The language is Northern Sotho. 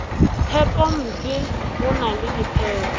phepompe go na le diphepo